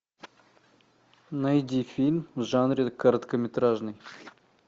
найди фильм в жанре короткометражный